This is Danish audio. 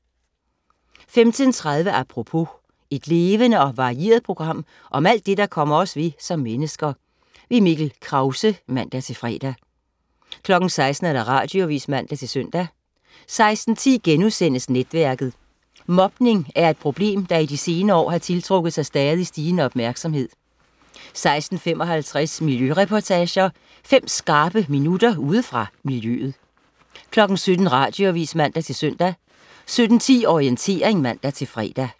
15.30 Apropos. Et levende og varieret program om alt det, der kommer os ved som mennesker. Mikkel Krause (man-fre) 16.00 Radioavis (man-søn) 16.10 Netværket.* Mobning er et problem, der i de senere år har tiltrukket sig stadig stigende opmærksomhed 16.55 Miljøreportager. Fem skarpe minutter ude fra miljøet 17.00 Radioavis (man-søn) 17.10 Orientering (man-fre)